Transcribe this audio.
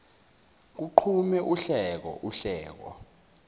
kuqhume uhleko uhleko